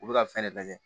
U bɛ ka fɛn de lajɛ